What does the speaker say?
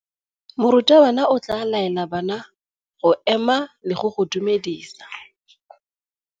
Morutabana o tla laela bana go ema le go go dumedisa.